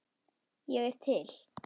Ég er til